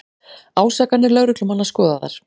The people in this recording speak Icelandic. Ásakanir lögreglumanna skoðaðar